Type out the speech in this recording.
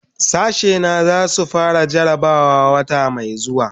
Sashena zai su fara jarabawa wata mai zuwa.